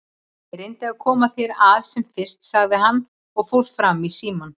Ég reyni að koma þér að sem fyrst, sagði hann og fór fram í símann.